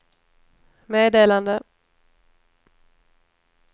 meddelande